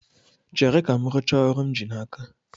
Chere ka m rụchaa ọrụ m ji n'aka